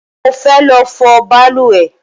Mo fe lọ fọ balùwẹ́